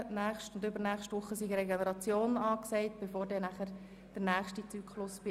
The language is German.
Während der zwei Folgewochen sei Regeneration angesagt, bevor der nächste Chemotherapiezyklus beginnt.